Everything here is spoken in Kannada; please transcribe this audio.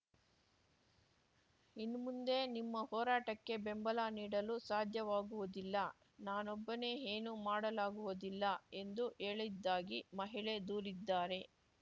ಇನ್ಮುಂದೆ ನಿಮ್ಮ ಹೋರಾಟಕ್ಕೆ ಬೆಂಬಲ ನೀಡಲು ಸಾಧ್ಯವಾಗುವುದಿಲ್ಲ ನಾನೊಬ್ಬನೇ ಏನೂ ಮಾಡಲಾಗುವುದಿಲ್ಲ ಎಂದು ಹೇಳಿದ್ದಾಗಿ ಮಹಿಳೆ ದೂರಿದ್ದಾರೆ